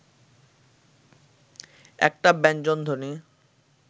একটা ব্যঞ্জনধ্বনি